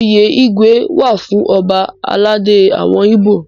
Oyè Igwe wà fún ọba aládé àwọn Ibo.